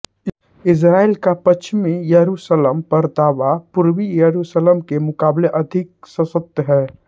Israel का पश्चिमी यरुशलम पर दावा पूर्वी यरुशलम के मुकाबले अधिक सशक्त है